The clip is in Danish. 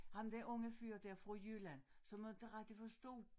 Ham den unge før dér fra Jylland som aldrig rigtig forstod